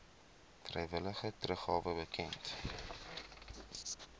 vrywillige teruggawe bekend